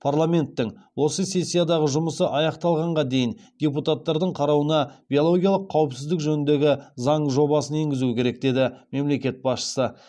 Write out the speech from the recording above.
парламенттің осы сессиядағы жұмысы аяқталғанға дейін депутаттардың қарауына биологиялық қауіпсіздік жөніндегі заң жобасын енгізу керек деді мемлекет басшысы